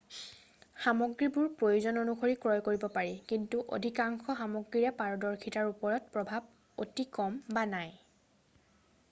সামগ্ৰীবোৰ প্ৰয়োজন অনুসৰি ক্ৰয় কৰিব পাৰি কিন্তু অধিকাংশ সামগ্ৰীৰে পাৰদৰ্শিতাৰ ওপৰত প্ৰভাৱ অতি কম বা নাই